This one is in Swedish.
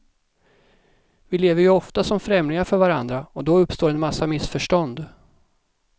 Vi lever ju ofta som främlingar för varandra och då uppstår en massa missförstånd.